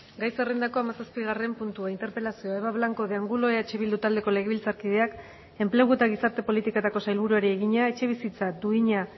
gai zerrendako hamazazpigarren puntua interpelazioa eva blanco de angulo eh bildu taldeko legebiltzarkideak enplegu eta gizarte politiketako sailburuari egina etxebizitza duina